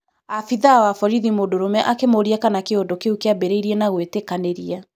Abithaa wa borithi mũndũrume akĩmũria kana kĩũndũ kĩũ kĩambĩrĩirie na gũĩtĩkanĩria?